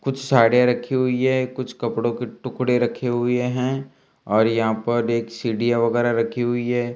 कुछ साड़ियां रखी हुई है कुछ कपड़ों के टुकड़े रखे हुए हैं और यहां पर एक सीडीया वगैरा रखी हुई है।